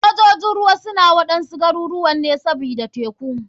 Sojojin ruwa suna waɗansu garuruwan ne kawai sbida teku.